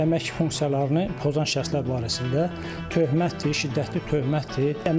Əmək funksiyalarını pozan şəxslər barəsində töhmətdir, şiddətli töhmətdir.